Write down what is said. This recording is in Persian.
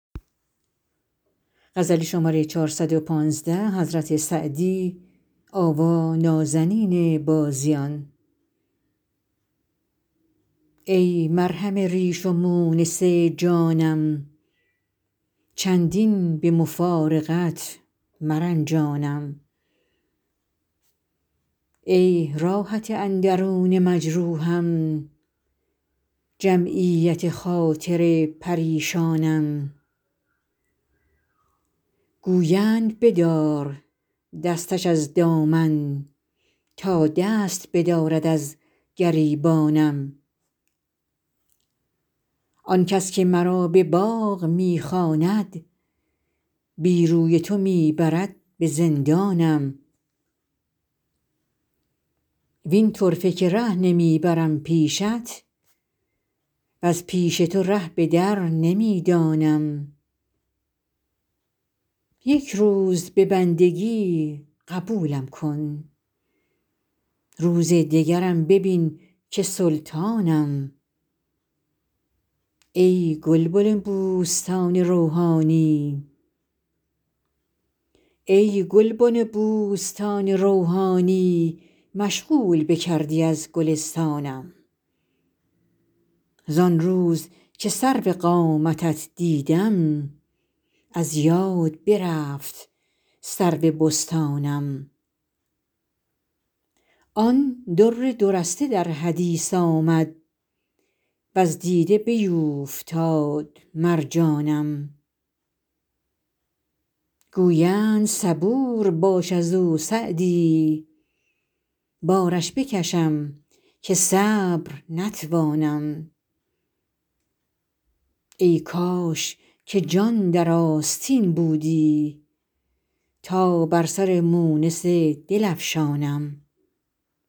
ای مرهم ریش و مونس جانم چندین به مفارقت مرنجانم ای راحت اندرون مجروحم جمعیت خاطر پریشانم گویند بدار دستش از دامن تا دست بدارد از گریبانم آن کس که مرا به باغ می خواند بی روی تو می برد به زندانم وین طرفه که ره نمی برم پیشت وز پیش تو ره به در نمی دانم یک روز به بندگی قبولم کن روز دگرم ببین که سلطانم ای گلبن بوستان روحانی مشغول بکردی از گلستانم زان روز که سرو قامتت دیدم از یاد برفت سرو بستانم آن در دو رسته در حدیث آمد وز دیده بیوفتاد مرجانم گویند صبور باش از او سعدی بارش بکشم که صبر نتوانم ای کاش که جان در آستین بودی تا بر سر مونس دل افشانم